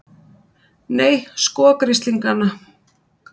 Nei, sko grislingana!